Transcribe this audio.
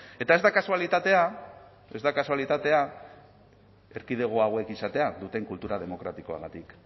eta ez da kasualitatea ez da kasualitatea erkidego hauek izatea duten kultura demokratikoagatik